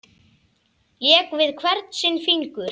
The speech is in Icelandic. Lék við hvern sinn fingur.